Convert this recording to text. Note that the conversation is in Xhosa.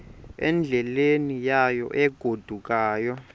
endleleni yayo egodukayo